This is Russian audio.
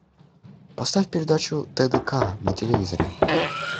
поставь передачу тдк на телевизоре